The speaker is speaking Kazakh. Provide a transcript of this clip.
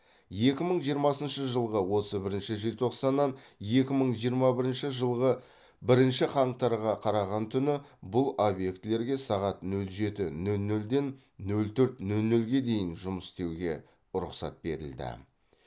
екі мың жиырмасыншы жылғы отыз бірінші желтоқсаннан екі мың жиырма бірінші жылғы бірінші қаңтарға қараған түні бұл объектілерге сағат нөл жеті нөл нөлден нөл төрт нөл нөлге дейін жұмыс істеуге рұқсат берілді